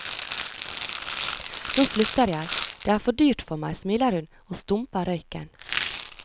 Nå slutter jeg, det er for dyrt for meg, smiler hun og stumper røyken.